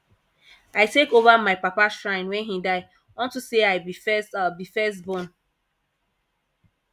i take over my papa shrine wen he die unto say i be first be first born